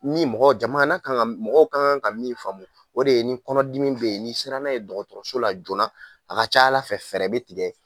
Ni mɔgɔ jama n'a kan ka min faamu o de ye nin kɔnɔdimi bɛ yen ni sera n'a ye dɔgɔtɔrɔso la joona, a ka ca ala fɛ, fɛɛrɛ bɛ tigɛ